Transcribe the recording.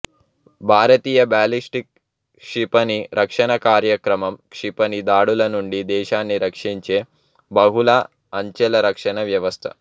భారతీయ ballistic క్షిపణి రక్షణ కార్యక్రమం క్షిపణి దాడుల నుండి దేశాన్ని రక్షించే బహుళ అంచెల రక్షణ వ్యవస్థ